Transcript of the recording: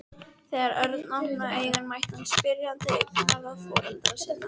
Þegar Örn opnaði augun mætti hann spyrjandi augnaráði foreldra sinna.